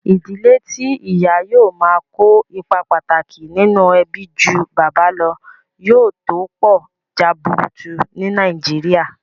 Ìdílé tí ìyà yóò máa kó ipa pàtàkì nínú ẹbí ju bàbá lọ, yóò tó pọ̀ jaburutu ní nàìjíría